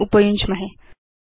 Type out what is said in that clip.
च उपयुञ्ज्महे